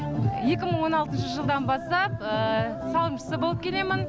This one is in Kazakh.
екі мың он алтыншы жылдан бастап салымшысы болып келемін